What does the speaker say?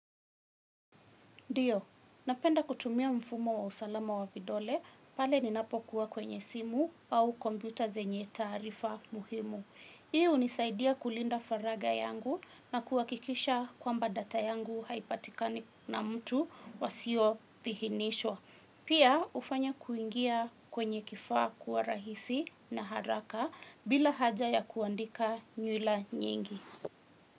Ndiyo, napenda kutumia mfumo wa usalama wa vidole pale ninapokuwa kwenye simu au kompyuta zenye taarifa muhimu. Hii hunisaidia kulinda faragha yangu na kuhakikisha kwamba data yangu haipatikani na mtu wasiyoidhinishwa. Pia hufanya kuingia kwenye kifaa kuwa rahisi na haraka bila haja ya kuandika nywila nyingi.